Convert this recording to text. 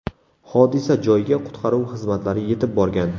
Hodisa joyiga qutqaruv xizmatlari yetib borgan.